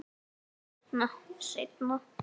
Seinna, seinna.